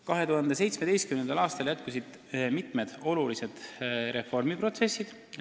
2017. aastal jätkusid mitmed olulised reformiprotsessid.